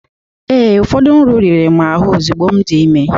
Ee, ụfọdụ nri riri m ahụ ozugbo m dị ime